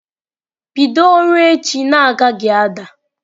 Bido ọrụ echi na-agaghị ada!